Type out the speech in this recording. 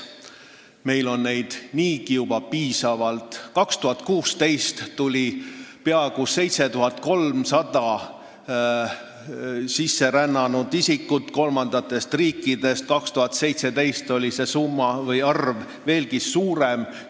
Meil on neid juba niigi piisavalt: aastal 2016 tuli meile kolmandatest riikidest peaaegu 7300 isikut, aastal 2017 oli sisserännanute arv veelgi suurem.